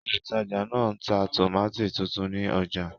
Olùtajà náà ń ta tòmátì tuntun ní ọjà.